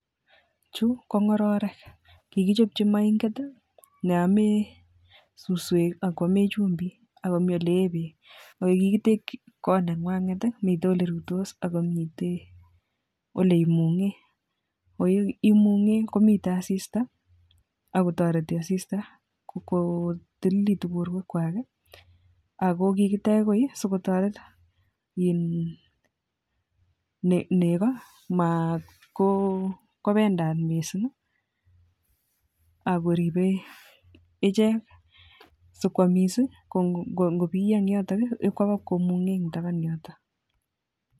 Chu ko ngororek kikichopchi moinget neomee suswek akoomee chumbik akomii ole ee beek ole kikitekchin kot nengwanget ko mitei ole rutos Ako mi ole imungee, ole imungee ko mitei asista Ako torei asista kotililitu borwek kwach Ako kikitech koi sikotoret neko komabendat mising Ako ribei ichek so kwomiss si ngobiyo koba kumungee taban yoto